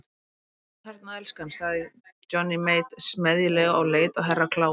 Nú ertu þarna elskan, sagði Johnny Mate smeðjulega og leit á Herra Kláus.